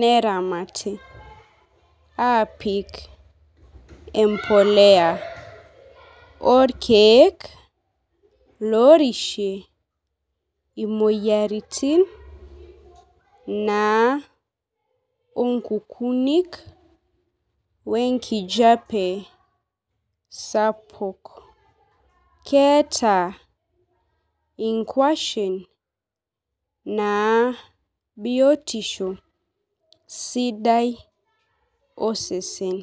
neramati aapik empoleya orkeek lorishie imoyiaritin naa onkukunik wenkijape sapuk keeta inkuashen naa biotisho sidai osesen.